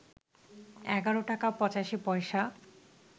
১১ টাকা ৮৫ পয়সা